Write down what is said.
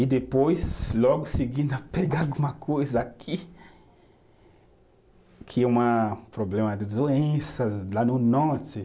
E depois, logo seguindo, pegar alguma coisa aqui, que é uma problema de doenças lá no norte.